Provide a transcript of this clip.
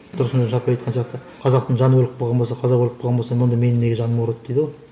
тұрсынжан шапай айтқан сияқты қазақтың жаны өліп қалған болса қазақ өліп қалған болса онда менің неге жаным ауырады дейді ғой